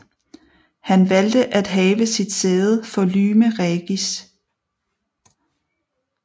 Han valgte at have sit sæde for Lyme Regis